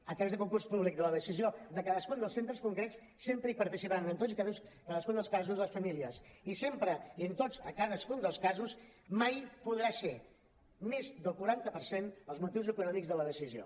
a través de concurs públic de la decisió de cadascun dels centres concrets sempre hi participaran en tots i cadascun dels casos les famílies i sempre i en cadascun dels casos mai podran ser més del quaranta per cent els motius econòmics de la decisió